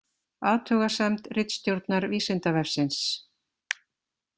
Athugasemd ritstjórnar Vísindavefsins